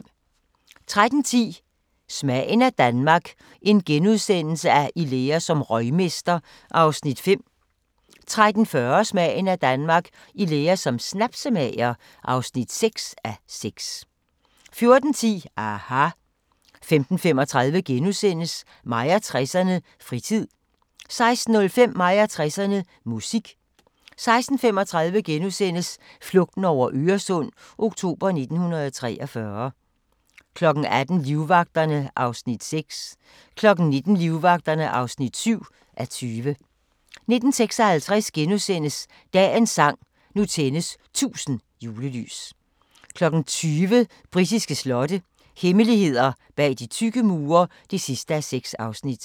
13:10: Smagen af Danmark - i lære som røgmester (5:6)* 13:40: Smagen af Danmark – I lære som snapsemager (6:6) 14:10: aHA! * 15:35: Mig og 60'erne: Fritid * 16:05: Mig og 60'erne: Musik 16:35: Flugten over Øresund – oktober 1943 * 18:00: Livvagterne (6:20) 19:00: Livvagterne (7:20) 19:56: Dagens sang: Nu tændes 1000 julelys * 20:00: Britiske slotte – hemmeligheder bag de tykke mure (6:6)